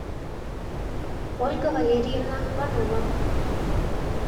ольга валерьевна панова